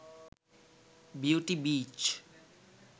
beauty beach